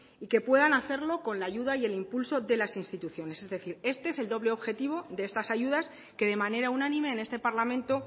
y que puedan hacerlo con la ayuda y el impulso de las instituciones es decir este es el doble objetivo de estas ayudas que de manera unánime en este parlamento